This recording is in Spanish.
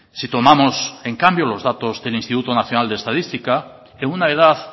si tomamos en cambio los datos del instituto nacional de estadística en una edad